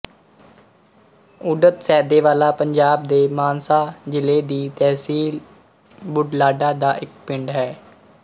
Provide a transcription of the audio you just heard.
ਉਡਤ ਸੈਦੇ ਵਾਲਾ ਪੰਜਾਬ ਦੇ ਮਾਨਸਾ ਜ਼ਿਲ੍ਹੇ ਦੀ ਤਹਿਸੀਲ ਬੁਢਲਾਡਾ ਦਾ ਇੱਕ ਪਿੰਡ ਹੈ